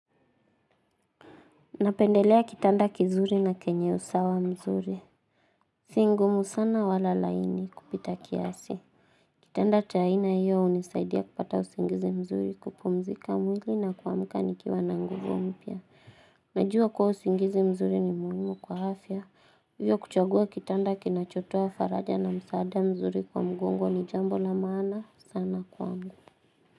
Napendelea kitanda kizuri na kenye usawa mzuri. Si ngumu sana wala laini kupita kiasi. Kitanda cha aina hiyo unisaidia kupata usingizi mzuri kupumzika mwili na kuamuka nikiwa na nguvu mpia. Najua kuwa usingizi mzuri ni muhimu kwa hafya. Hivyo kuchagua kitanda kinachotoa faraja na msaadea mzuri kwa mgongo ni jambo la maana sana kwangu.